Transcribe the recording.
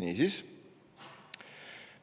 Niisiis,